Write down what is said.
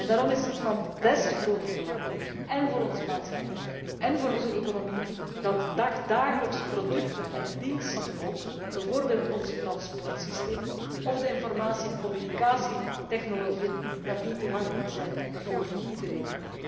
Daarom is het van des te groter belang én voor onze maatschappij én voor onze economie dat dagelijkse producten en ook diensten, bijvoorbeeld onze transportsystemen en de informatie en communicatietechnologieën, toegankelijk zijn voor iedereen.